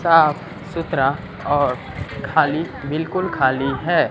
साफ सुथरा और खाली बिल्कुल खाली है।